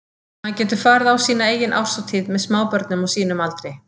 Hann getur farið á sína eigin árshátíð með smábörnum á sínum aldri.